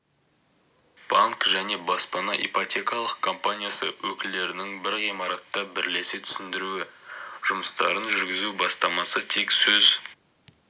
банк және баспана ипотекалық компаниясы өкілдерінің бір ғимаратта бірлесе түсіндіру жұмыстарын жүргізу бастамасы тек сөз